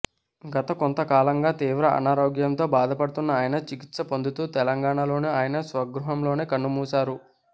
గత కొంతకాలంగా తీవ్ర అనారోగ్యంతో బాధపడుతూన్న ఆయన చిక్కిత్స పొందుతూ తెలంగాణలోని ఆయన స్వగృహంలోనే కన్ను మూశారు